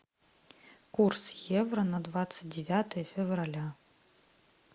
курс евро на двадцать девятое февраля